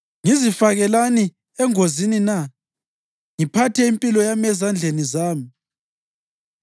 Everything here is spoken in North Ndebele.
Ngizifakelani engozini na ngiphathe impilo yami ezandleni zami?